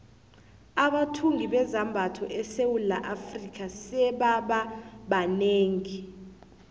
abathungi bezambatho esewula afrika sebaba banengi